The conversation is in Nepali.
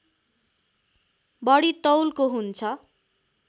बढी तौलको हुन्छ